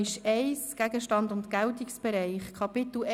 – Das ist nicht der Fall.